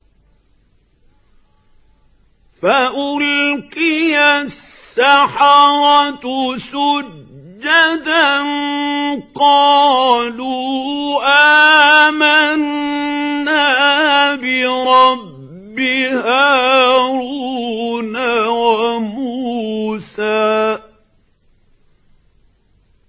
فَأُلْقِيَ السَّحَرَةُ سُجَّدًا قَالُوا آمَنَّا بِرَبِّ هَارُونَ وَمُوسَىٰ